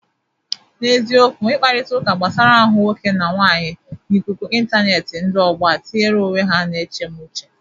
N'eziokwu, ikparịtaụka gbasara ahụ nwoke na nwaanyị n'ikuku ịntaneetị ndị ọgbọ a tinyere onwe ha na ya na-eche mụ uche.